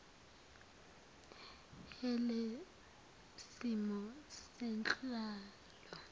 h lesimo senhlalo